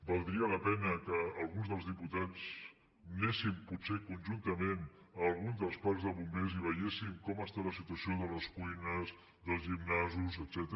valdria la pena que alguns dels diputats anéssim potser conjuntament a alguns dels parcs de bombers i veiéssim com està la situació de les cuines dels gimnasos etcètera